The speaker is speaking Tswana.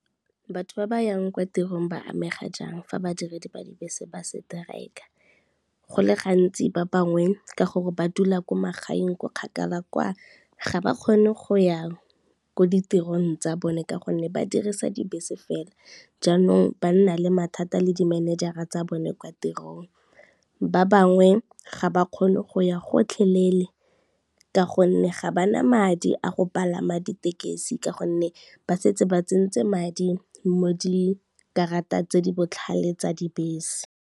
Batho ba ba yang kwa tirong ba amega jang fa badiredi ba dibese ba strike-a? Go le gantsi ba bangwe ka gore ba dula ko magaeng ko kgakala kwa, ga ba kgone go ya ko ditirong tsa bone ka gonne ba dirisa dibese fela, jaanong ba nna le mathata le di-manager-ra tsa bone kwa tirong. Ba bangwe ga ba kgone go ya gotlheleele ka gonne ga ba na madi a go palama ditekesi ka gonne, ba setse ba tsentse madi mo dikarata tse di botlhale tsa dibese.